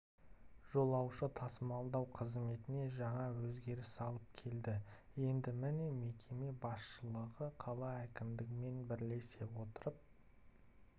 жолаушы тасымалдау қызметіне жаңа өзгеріс алып келді енді міне мекеме басшылығы қала әкімдігімен бірлесе отырып